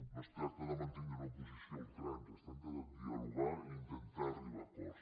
no es tracta de mantindre una posició a ultrança es tracta de dialogar i intentar arribar a acords